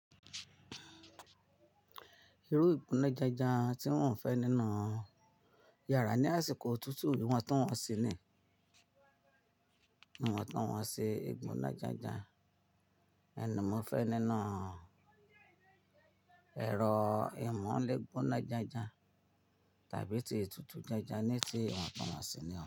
Irú ìgbóná janjan tí mo n fẹ́ nínú iyàrá ní àsìkò òtútù ìwọ̀ntunwọ́nṣi ni ìwọ̀ntunwọ́nsi ìgbóná janjan hin ni mófẹ́ nínú ẹ̀rọ ìmu ile gbóná janjan tàbí ti itùtù jánjan ní ti ìwọ̀ntunwọ́nṣi ni o.